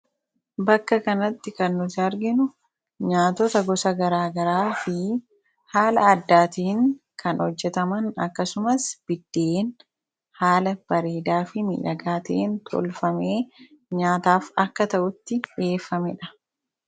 bakka kanatti kannuti arginu nyaatota gosa garaagaraa fi haala addaatiin kan hojjetaman akkasumas biddeen haala bariidaa fi midhagaatiin tolfamee nyaataaf akka ta'utti dhiheeffamee dha